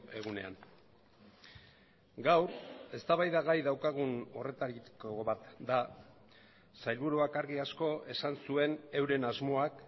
egunean gaur eztabaidagai daukagun horretariko bat da sailburuak argi asko esan zuen euren asmoak